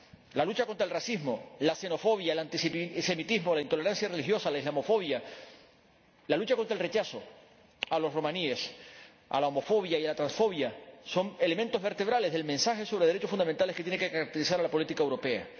La lucha contra el racismo, la xenofobia, el antisemitismo, la intolerancia religiosa, la islamofobia, y la lucha contra el rechazo a los romaníes, a la homofobia y a la transfobia son elementos vertebrales del mensaje sobre los derechos fundamentales que tiene que caracterizar a la política europea.